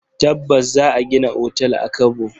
Tabbas! Za a gina otal a Kabo.